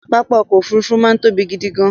Pápá ọkọ̀ Òfurufú máa ń tóbi gidi gan-an